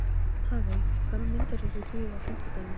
Án hennar fer hvert þjóðfélag í mola.